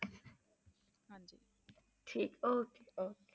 ਠੀਕ okay okay